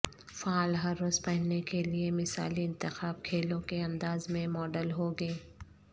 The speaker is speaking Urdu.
فعال ہر روز پہننے کے لئے مثالی انتخاب کھیلوں کے انداز میں ماڈل ہوں گے